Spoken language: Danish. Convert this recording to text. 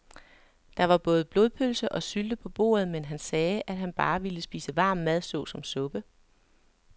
Der var både blodpølse og sylte på bordet, men han sagde, at han bare ville spise varm mad såsom suppe.